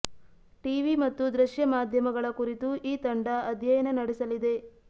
TV ಮತ್ತು ದೃಶ್ಯ ಮಾಧ್ಯಮಗಳ ಕುರಿತು ಈ ತಂಡ ಅಧ್ಯಯನ ನಡೆಸಲಿದೆ